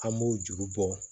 An b'o juru bɔ